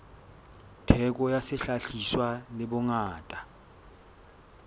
theko ya sehlahiswa le bongata